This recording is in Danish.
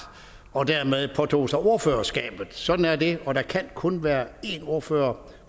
og dermed påtog sig ordførerskabet sådan er det og der kan kun være én ordfører